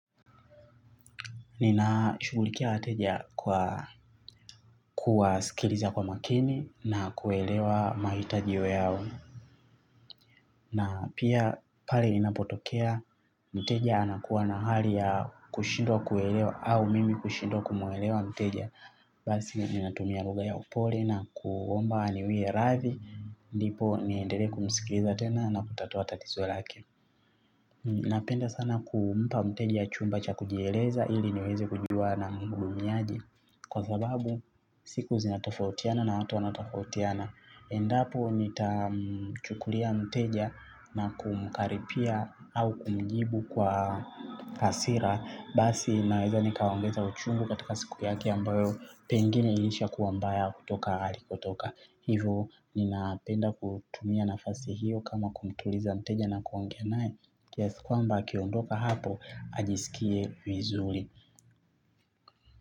Ninashugulikia wateja kwa kuwaskiliza kwa makini na kuelewa mahitajio yao. Na pia pale ninapotokea, mteja anakuwa na hali ya kushindwa kuelewa au mimi kushindwa kumuelewa mteja. Basi ninatumia lugha ya upole na kuomba aniwie radhi. Ndipo niendelee kumskiliza tena na kutatua tatizo lake. Napenda sana kumpa mteja chumba cha kujieleza ili niweze kujua namhudumiaje. Kwa sababu siku zinatofautiana na hatu wanatofautiana. Endapo nitamchukulia mteja na kumkaripia au kumjibu kwa hasira basi naweza nikaongeza uchungu katika siku yake ambayo pengine ilisha kuwa mbaya kutoka alikutoka. Hivo ninapenda kutumia nafasi hiyo kama kumtuliza mteja na kuongea naye kiasi kwamba akiondoka hapo ajiskie vizuri.